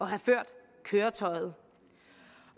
have ført køretøjet